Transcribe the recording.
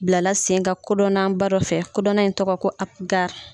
Bilala sen ka kodɔnnaba dɔ fɛ, kodɔnna in tɔgɔ ko Apugari.